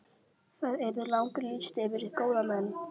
Það yrði langur listi yfir góða menn.